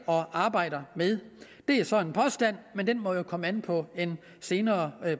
og arbejder med det er så en påstand men den må komme an på en senere